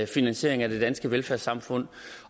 finansiering af det danske velfærdssamfund